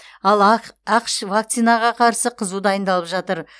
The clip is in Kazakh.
ал ақш вакцинаға қарсы қызу дайындалып жатыр